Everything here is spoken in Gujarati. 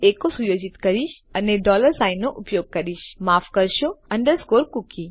હું એકો સુયોજિત કરીશ અને ડોલર સાઇન નો ઉપયોગ કરીશ માફ કરશો અન્ડરસ્કોર કૂકી